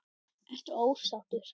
Ertu ósáttur?